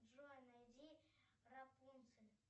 джой найди рапунцель